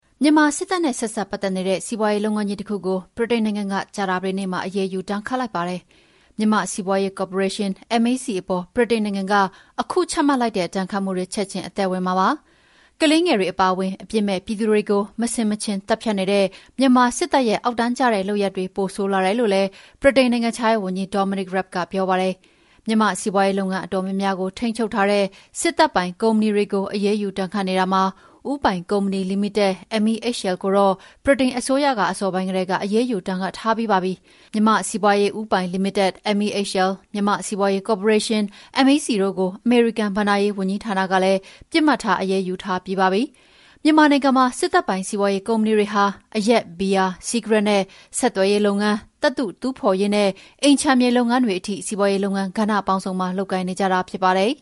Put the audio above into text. မြန်မာစစ်တပ်နဲ့ဆက်စပ်ပတ်သက်နေတဲ့ စီးပွါးရေးလုပ်ငန်းကြီးတခုကို ဗြိတိန်နိုင်ငံက ကြာသပတေးနေ့မှာ အရေးယူ ဒဏ်ခတ်လိုက်ပါတယ်။ မြန်မာ့စီးပွားရေးကော်ပိုရေးရှင်း (MEC) အပေါ် ဗြိတိန်နိုင်ငံက အခုချမှတ်လိုက်တဲ့ ဒဏ်ခတ်မှုတွေ ချက်ချင်းအသက်ဝင်မှာဖြစ်ပါတယ်။ ကလေးငယ်တွေအပါအဝင် အပြစ်မဲ့ပြည်သူတွေကို မဆင်မခြင် သတ်ဖြတ်နေတဲ့ မြန်မာစစ်တပ်ရဲ့ အောက်တန်းကျတဲ့လုပ်ရပ်တွေ ပိုဆိုးလာတယ်လို့လည်း ဗြိတိန်နိုင်ငံခြားရေးဝန်ကြီး Dominic Raab ကပြောပါတယ်။ မြန်မာ့စီးပွါးရေးလုပ်ငန်းအတော်များများကို ထိန်းချုပ်ထားတဲ့ စစ်တပ်ပိုင် ကုမ္ပဏီတွေကို အရေးယူဒဏ်ခတ်နေတာမှာ ဦးပိုင်ကုမ္ပဏီလီမိတက် (MEHL) ကိုတော့ ဗြိတိန်အစိုးရက အစောပိုင်းကတည်းက အရေးယူ ဒဏ်ခတ်ထားပြီးပါပြီ။ မြန်မာ့စီးပွားရေးဦးပိုင်လီမိတက် (MEHL)၊ မြန်မာ့စီးပွားရေးကော်ပိုရေးရှင်း (MEC) တို့ကို အမေရိကန် ဘဏ္ဍာရေးဝန်ကြီးဌာနကလည်း ပစ်မှတ်ထား အရေးယူထားပြီးပါပြီ။ မြန်မာနိုင်ငံမှာ စစ်တပ်ပိုင် စီးပွားရေးကုမ္ပဏီတွေဟာ အရက်၊ ဘီယာ၊ စီးကရက်နဲ့ ဆက်သွယ်ရေးလုပ်ငန်း၊ သတ္တုတူးဖော်ရေးနဲ့ အိမ်ခြံမြေလုပ်ငန်းတွေထိ စီးပွားရေးလုပ်ငန်းကဏ္ဍပေါင်းစုံမှာ လုပ်ကိုင်နေကြတာဖြစ်ပါတယ်